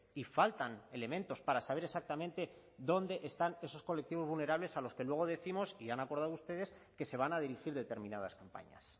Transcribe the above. y faltan elementos para saber exactamente dónde están esos colectivos vulnerables a los que luego décimos y han acordado ustedes que se van a dirigir determinadas campañas